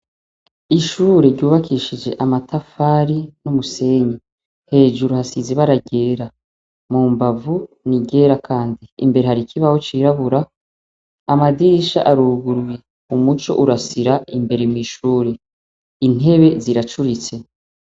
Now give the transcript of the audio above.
Ishure ryubakishije amatafari n'umusenyi. Hejuru hasize ibara ryera, mu mbavu ni iryera kandi. Imbere hari kibaho cirabura Amadirisha aruguruye; umuco urasira imbere mw'ishure, intebe ziracuritse.